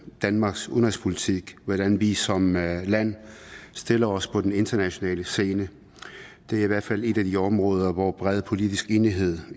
danmarks udenrigspolitik hvordan vi som land stiller os på den internationale scene det er i hvert fald et af de områder hvor bred politisk enighed